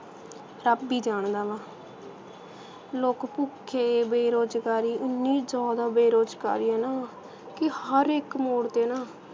ਰੱਬ ਈ ਜਾਣਦਾ ਵਾ ਲੋਕ ਭੁੱਖੇ ਬੇਰੁਜ਼ਗਾਰੀ ਐਨੀ ਜ਼ਿਆਦਾ ਬੇਰੁਜ਼ਗਾਰੀ ਆ ਨਾ ਕਿ ਹਰ ਇਕ ਮੋੜ 'ਤੇ ਨਾ